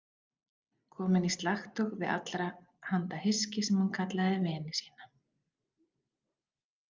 Komin í slagtog við allra handa hyski sem hún kallaði vini sína.